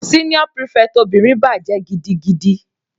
Senior prefect obìnrin bàjẹ́ gidigidi.